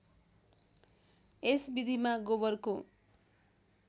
यस विधिमा गोबरको